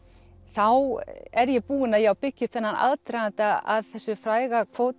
þá er ég búin að byggja upp þennan aðdraganda að þessu fræga kvóti